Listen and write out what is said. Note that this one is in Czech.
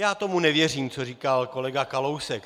Já tomu nevěřím, co říkal kolega Kalousek.